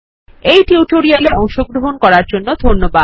এই টিউটোরিয়ালে অংশগ্রহন করার জন্য ধন্যবাদ